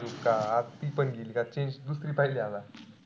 का ती पण गेली का change दुसरी पहिली का आता?